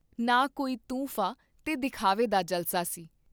ਨਾ ਕੋਈ ਤੂੰ ਫਾਂ ਤੇ ਦਿਖਾਵੇ ਦਾ ਜਲਸਾ ਸੀ।